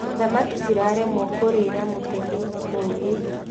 Thamaki ciraremwo kũrĩra mũtegi mũũgĩ.